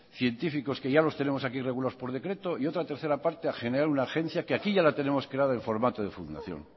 científicos que ya los tenemos aquí regulados por decreto y otra tercera parte a generar una agencia que aquí ya la tenemos creada en formato de fundación